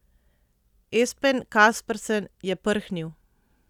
Espen Kaspersen je prhnil.